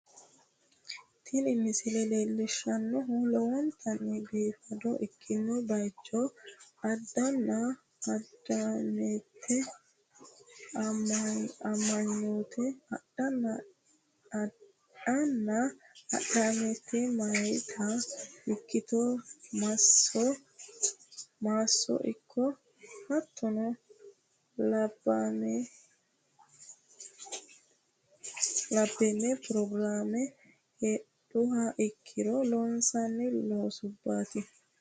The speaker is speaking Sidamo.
Tini misile leellishshannohu lowontanni biifado ikkino bayicho adhanna adhamate amanyoote ikkito maasso ikko hattonna labbeemme pirogiraame heedhuha ikkiro loonsanni loosubbaati.